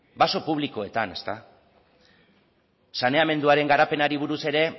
baso publikoetan saneamenduaren garapenari buruz ere